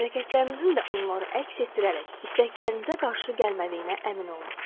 Hərəkətlərinizin də onları əks etdirərək istəklərinizə qarşı gəlmədiyinə əmin olun.